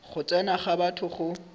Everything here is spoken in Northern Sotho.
go tsena ga batho go